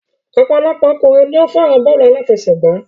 Ọ̀pọ̀lọpọ̀ ọkùnrin ni o fẹ́ràn bọ́ọ̀lù àláfẹsẹ̀gbá.